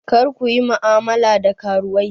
Kar ku yi mu'amala da karuwai!